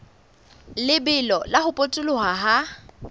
lebelo la ho potoloha ha